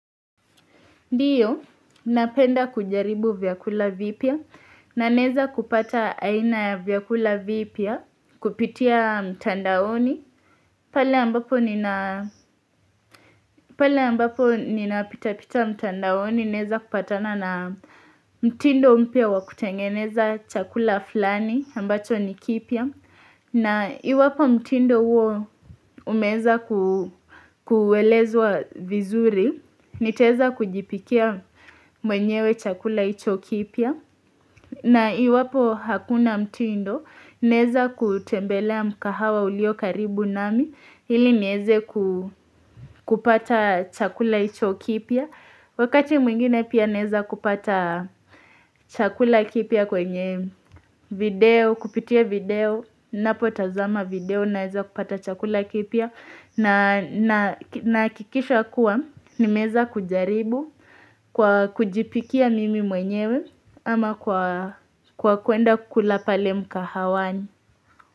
Ndiyo, napenda kujaribu vyakula vipya na neza kupata aina ya vyakula vipya kupitia mtandaoni. Pale ambapo ninapitapita mtandaoni neza kupatana na mtindo mpya wa kutengeneza chakula fulani ambacho ni kipya. Na iwapo mtindo huo umeza kuwelezuwa vizuri, niteza kujipikia mwenyewe chakula icho kipya na iwapo hakuna mtindo, neza kutembelea mkahawa ulio karibu nami, ili niweze kupata chakula icho kipya Wakati mwingine pia naeza kupata chakula kipya kwenye video kupitia video napo tazama video naeza kupata chakula kipya na hakikisha kuwa niwemeza kujaribu kwa kujipikia mimi mwenyewe ama kwa kuenda kukula pale mkahawani.